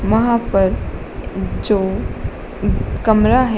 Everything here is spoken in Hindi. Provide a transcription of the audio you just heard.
वहां पर एक जो कमरा है।